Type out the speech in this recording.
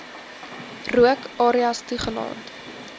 rook areas toegelaat